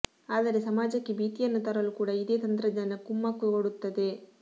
ಆದರೆ ಸಮಾಜಕ್ಕೆ ಭೀತಿಯನ್ನು ತರಲೂ ಕೂಡ ಇದೇ ತಂತ್ರಜ್ಞಾನ ಕುಮ್ಮಕ್ಕು ಕೊಡುತ್ತದೆ